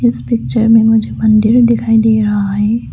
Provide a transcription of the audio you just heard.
इस पिक्चर में मुझे मंदिर दिखाई दे रहा है।